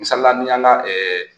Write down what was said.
Misalila ni y'an ka ɛɛ